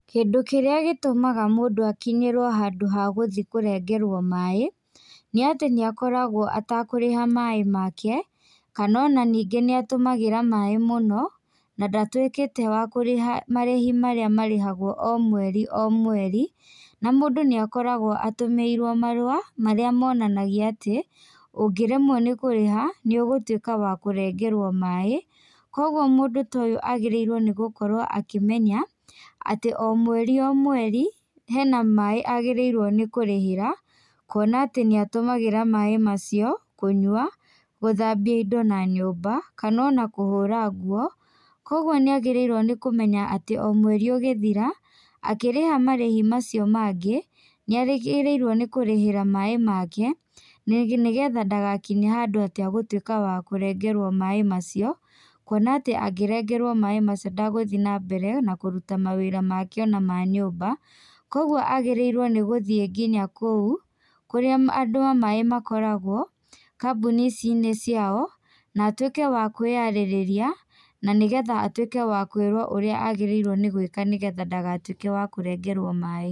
Kĩndũ kĩrĩa gĩtũmaga mũndũ akinyĩrwo hagũthĩ kũrengerwo maĩ, nĩ atĩ nĩ akoragwo etakũrĩha maĩ make, kana ona ningĩ nĩ atũmagĩra maĩ mũno, na ndatuĩkĩte wa kũrĩha marĩhi marĩa marĩhagwo o mweri o mweri, na mũndũ nĩ akoragwo atũmĩirwo marũa, marĩa monanagia atĩ, ũngĩremwo nĩ kũrĩha, nĩ ũgũtuĩka wa kũrengerwo maĩ. Kwoguo mũndũ ta ũyũ agĩrĩirwo nĩ kũmenya, atĩ o mweri o mweri, hena maĩ agĩrĩirwo nĩ kũrĩhĩra, kuona atĩ nĩ atũmagĩra maĩ macio kũnywa, gũthambia indo na nyũmba, kana ona kũhũra nguo. Kwoguo nĩ agĩrĩirwo nĩ kũmenya omweri ũgĩthira, akĩriha marĩhi macio mangĩ, nĩ agĩrĩirwo nĩ kũrĩhĩra maĩ make, nĩgetha ndagakinye handũ e-kũrengerwo maĩ macio, kwona atĩ angĩrengerwo maĩ macio ndegũthiĩ nambere na kũruta mawĩra make ona ma-nyũmba. Kwoguo agĩrĩirwo gũthiĩ nginya kũu, kũrĩa andũ maĩ makoragwo, kambuni-inĩ ici ciao, na atuĩke wa kũĩyarĩrĩria, na nĩgetha atuĩke wa kũirwo ũrĩa agĩrĩirwo nĩ gũĩka nĩguo ndagatuĩke wa kũrengerwo maĩ.